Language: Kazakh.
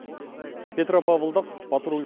петропавлдық патруль